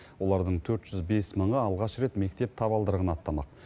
олардың төрт жүз бес мыңы алғаш рет мектеп табалдырығын аттамақ